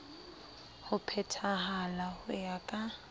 ho phethahala ho ya ka